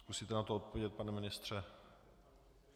Zkusíte na to odpovědět, pane ministře?